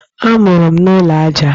Amụrụ m n'ụlọ aja.